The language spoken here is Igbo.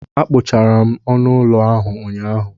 Akpochara m ọnụ ụlọ ahụ ụnyaahụ.